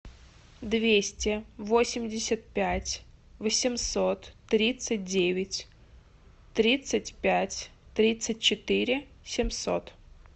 двести восемьдесят пять восемьсот тридцать девять тридцать пять тридцать четыре семьсот